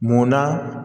Munna